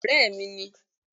Béèni ọ̀rẹ́ mi ni